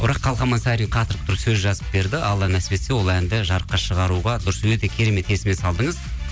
бірақ қалқаман сарин қатырып тұрып сөз жазып берді алла нәсіп етсе ол әнді жарыққа шығаруға дұрыс өте керемет есіме салдыңыз